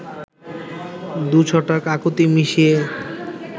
দু’ছটাক আকুতি মিশিয়ে